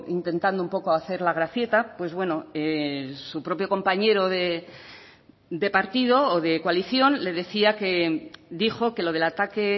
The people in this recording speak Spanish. intentando un poco hacer la gracieta pues bueno su propio compañero de partido o de coalición le decía que dijo que lo del ataque